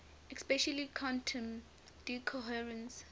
especially quantum decoherence